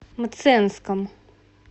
мценском